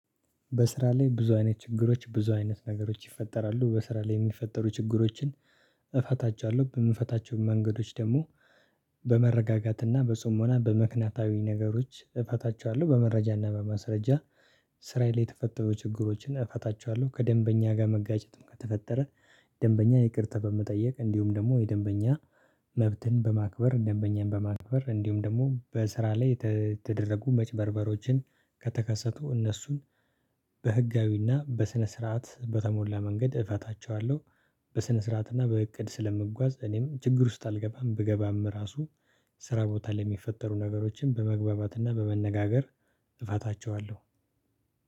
በስራ ላይ ብዙ አይነት ችግሮች ብዙ አይነት ነገሮች ይፈጠራሉ በስራ ላይ የሚፈጠሩ ችግሮችን እፈታቸዋለሁ በምፈታቸው መንገዶች ደግሞ በመረጋጋትና በጽሞና በምክናታዊ ነገሮች እፈታቸዋለሁ በመረጃና በመስረጃ ስራዬ ላይ የተፈጠሩ ችግሮችን እፈታቸዋለሁ። ከደንበኛ ጋር መጋጨትም ከተፈጠረ ደንበኛ ይቅርታ በመጠየቅ እንዲሁም ደግሞ የደንበኛ መብትን በማክበር ደንበኛን በማክበር እንዲሁም ደግሞ በስራ ላይ የተደረጉ መጭበርበሮችን ከተከሰቱ እነሱን በህጋዊና በስነ ስርዓት በተሞላ መንገድ እፈታቸዋለሁ። በስነ ስርዓትና በእቅድ ስለምጓዝ እኔም ችግር ውስጥ አልገባም ብገባም ራሱ ስራ ቦታ ለሚፈጠሩ ነገሮችን በመግባባትና በመነጋገር እፋታቸዋለሁ።